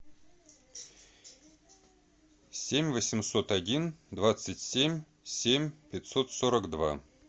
семь восемьсот один двадцать семь семь пятьсот сорок два